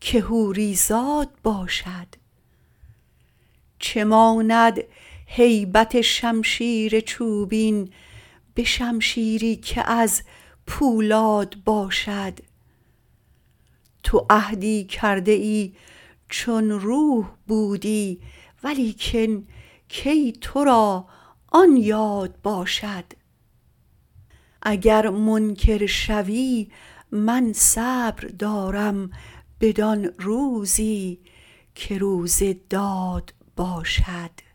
که حوری زاد باشد چه ماند هیبت شمشیر چوبین به شمشیری که از پولاد باشد تو عهدی کرده ای چون روح بودی ولیکن کی تو را آن یاد باشد اگر منکر شوی من صبر دارم بدان روزی که روز داد باشد